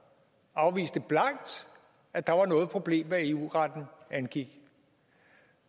afviste blankt at der var noget problem hvad eu retten angik